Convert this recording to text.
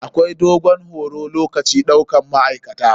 Akwai dogon horo lokacin ɗaukan ma'aikata.